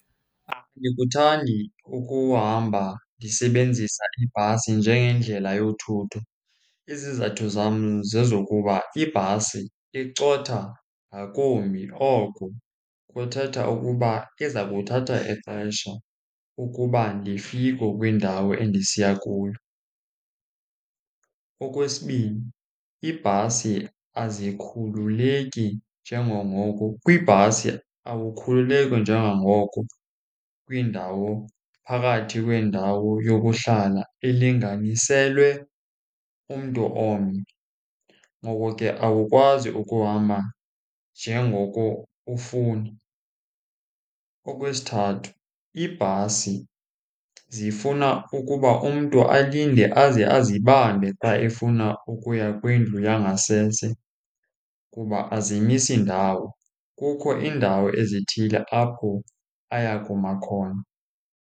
Andikuthandi ukuhamba ndisebenzisa ibhasi njengendlela yothutho. Izizathu zam zezokuba ibhasi icotha ngakumbi. Oko kuthetha ukuba iza kuthatha ixesha ukuba ndifike kwindawo endisiya kuyo. Okwesibini, iibhasi azikhululeki njengangoko, kwibhasi awukhuleleki njengangoko kwindawo phakathi kwendawo yokuhlala elinganiselwe umntu omnye. Ngoko ke awukwazi ukuhamba njengoko ufuna. Okwesithathu, iibhasi zifuna ukuba umntu alinde aze azibambe xa efuna ukuya kwindlu yangasese kuba azimisi ndawo, kukho iindawo ezithile apho aya kuma khona.